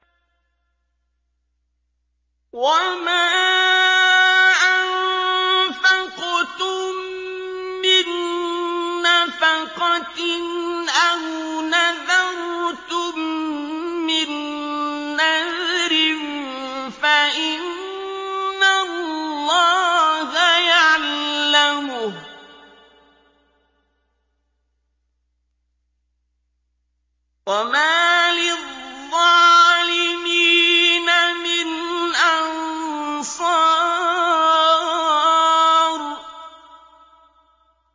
وَمَا أَنفَقْتُم مِّن نَّفَقَةٍ أَوْ نَذَرْتُم مِّن نَّذْرٍ فَإِنَّ اللَّهَ يَعْلَمُهُ ۗ وَمَا لِلظَّالِمِينَ مِنْ أَنصَارٍ